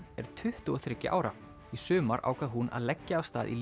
er tuttugu og þriggja ára í sumar ákvað hún að leggja af stað í